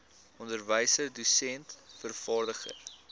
onderwyser dosent vervaardiger